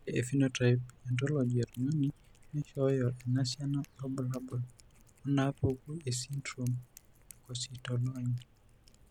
Ore ephenotype ontology etung'ani neishooyo enasiana oorbulabul onaapuku esindirom eKosztolanyi.